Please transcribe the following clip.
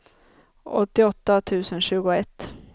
åttioåtta tusen tjugoett